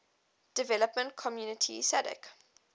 development community sadc